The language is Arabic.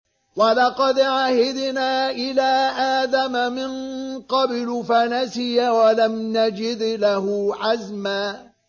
وَلَقَدْ عَهِدْنَا إِلَىٰ آدَمَ مِن قَبْلُ فَنَسِيَ وَلَمْ نَجِدْ لَهُ عَزْمًا